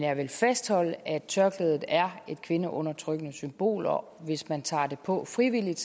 jeg vil fastholde at tørklædet er et kvindeundertrykkende symbol og hvis man tager det på frivilligt